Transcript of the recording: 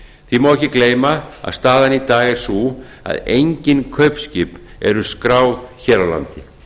því má ekki gleyma að staðan í dag er sú að engin kaupskip eru skráð hér á landi